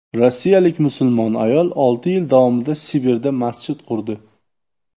Rossiyalik musulmon ayol olti yil davomida Sibirda masjid qurdi.